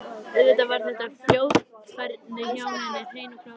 Auðvitað var þetta fljótfærni hjá henni, hrein og klár bilun.